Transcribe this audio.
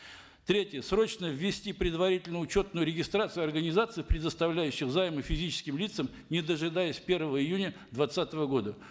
третье срочно ввести предварительную учетную регистрацию организаций предоставляющих займы физическим лицам не дожидаясь первого июня двадцатого года